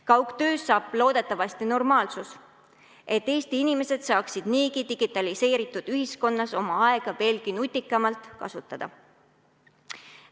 Kaugtööst saab loodetavasti normaalsus, et Eesti inimesed saaksid niigi digitaliseeritud ühiskonnas oma aega veelgi nutikamalt kasutada.